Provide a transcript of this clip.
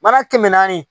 Mana kɛmɛ naani